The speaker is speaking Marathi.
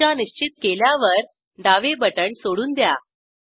दिशा निश्चित केल्यावर डावे बटण सोडून द्या